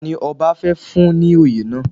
Tani ọba fẹ́ fún ní oyè náà?